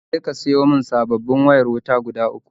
Je ka ka siyo mun sabobin wayar wuta guda uku